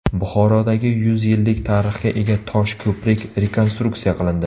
Buxorodagi yuz yillik tarixga ega tosh ko‘prik rekonstruksiya qilindi.